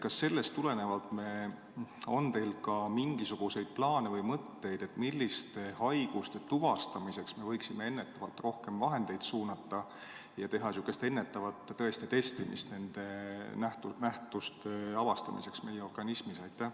Kas sellest tulenevalt on teil ka mingisuguseid plaane või mõtteid, milliste haiguste tuvastamiseks me võiksime ennetavalt rohkem vahendeid suunata ja teha ennetavat testimist nende nähtuste avastamiseks meie organismis?